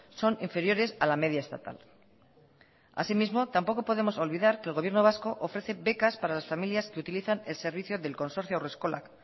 son inferiores a la media estatal así mismo tampoco podemos olvidar que el gobierno vasco ofrece becas para las familias que utilizan el servicio del consorcio haurreskolak